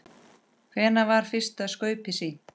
Hvenær var fyrsta skaupið sýnt?